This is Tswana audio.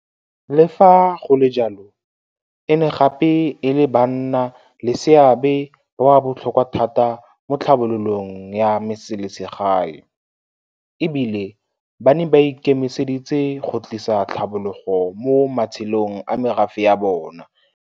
Le fa go le jalo, e ne gape e le banna le seabe ba ba botlhokwa thata mo tlhabololong ya metseselegae, e bile ba ne ba ikemiseditse go tlisa tlhabologo mo matshelong a merafe ya bona.